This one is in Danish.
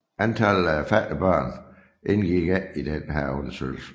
Antallet af fattige børn indgik ikke i denne undersøgelse